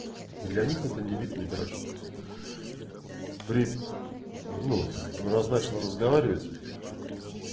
для них это небит некраш при ну раз начал разговаривать